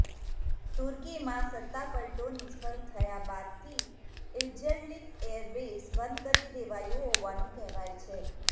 તુર્કીમાં સત્તાપલટો નિષ્ફળ થયા બાદથી ઈલ્ઝર્લિક એરબેઝ બંધ કરી દેવાયું હોવાનું કહેવાય છે